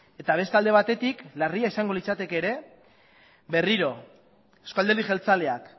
eta beste alde batetik larria izango litzateke ere berriro eusko alderdi jeltzaleak